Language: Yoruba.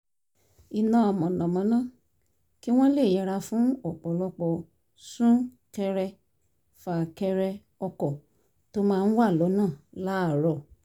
iná mànàmáná kí wọ́n lè yẹra fún ọ̀pọ̀lọpọ̀ sún-ḳẹrẹ- fà-kẹrẹ ọkọ̀ tó máa ń wà l’ọ́nà láàárọ̀